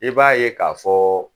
I b'a ye k'a fɔ